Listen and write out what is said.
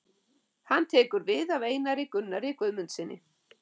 Hann tekur við af Einar Gunnari Guðmundssyni.